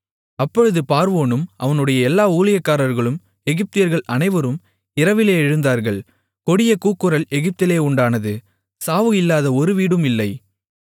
அப்பொழுது பார்வோனும் அவனுடைய எல்லா ஊழியக்காரர்களும் எகிப்தியர்கள் அனைவரும் இரவிலே எழுந்தார்கள் கொடிய கூக்குரல் எகிப்திலே உண்டானது சாவு இல்லாத ஒரு வீடும் இல்லை